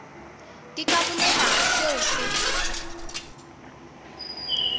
ke ka bolela seo se